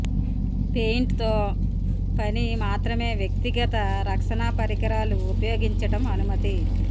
paint తో పని మాత్రమే వ్యక్తిగత రక్షణ పరికరాలు ఉపయోగించడం అనుమతి